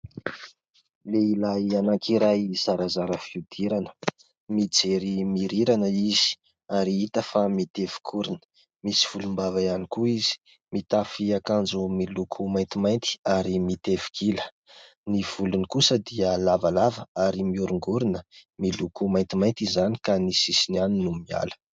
Lehilahy anankiray zarazara fihodirana, mijery mihorirana izy ary hita fa mitevi-korona, misy volombava ihany koa izy, mitafy akanjo miloko maintimainty ary mitevi-kila, ny volony kosa dia lavalava ary mihorongorona miloko maintimainty izany ka ny sisiny ihany no miala.